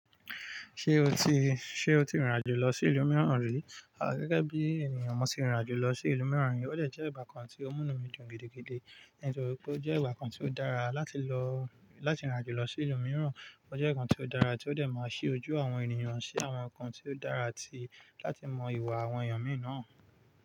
Ṣé o ti, ṣe o ti rìn rìn àjò lọ sí ìlú mìíràn rí? À gẹ́gẹ́ bí ènìyàn, mo ti rìn àjò lọ sí ìlú mìíràn. Ó dè jẹ́ ẹ̀bà kan tí ó múnú mi dùn gidi gidi, nítorí pé ó jẹ́ ìwà kan tí ó dára láti lọ, láti rìn àjò lọ sí ìlú mìíràn. Ó jẹ́ ǹkan tí ó dára tí ó tẹ ma ṣe ojú àwọn ènìyàn sí àwọn ǹkan tí ó dára ti, láti mọ ìwà àwọn èèyàn mìí nàn.